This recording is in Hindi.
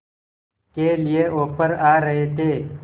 के लिए ऑफर आ रहे थे